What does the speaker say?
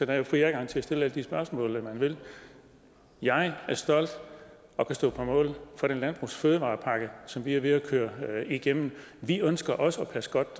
er jo fri adgang til at stille alle de spørgsmål man vil jeg er stolt af og kan stå på mål for den landbrugs og fødevarepakke som vi er ved at køre igennem vi ønsker også at passe godt